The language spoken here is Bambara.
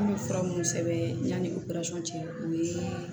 An bɛ fura minnu sɛbɛn yanni o peresɛrisi kɛ o ye